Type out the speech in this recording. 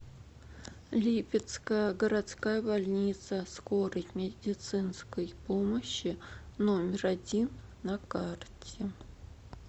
липецкая городская больница скорой медицинской помощи номер один на карте